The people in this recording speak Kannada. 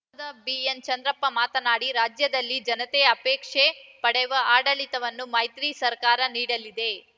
ಸಂಸದ ಬಿಎನ್‌ಚಂದ್ರಪ್ಪ ಮಾತನಾಡಿ ರಾಜ್ಯದಲ್ಲಿ ಜನತೆ ಅಪೇಕ್ಷೆ ಪಡೆವ ಆಡಳಿತವನ್ನು ಮೈತ್ರಿ ಸರ್ಕಾರ ನೀಡಲಿದೆ